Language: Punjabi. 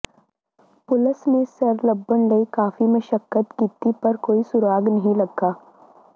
ਪੁਲਸ ਨੇ ਸਿਰ ਲੱਭਣ ਲਈ ਕਾਫੀ ਮਸ਼ਕੱਤ ਕੀਤੀ ਪਰ ਕੋਈ ਸੁਰਾਗ ਨਹੀਂ ਲੱਗਾ